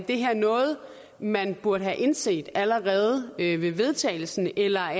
det her er noget man burde have indset allerede ved vedtagelsen eller